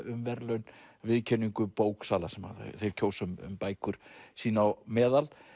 um viðurkenningu bóksala þeir kjósa um bækur sín á meðal